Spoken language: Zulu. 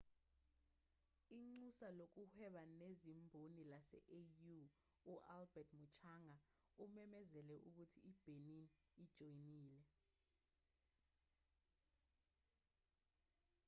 inxusa lokuhweba nezimboni lase-au u-albert muchanga umemezele ukuthi i-benin ijoyinile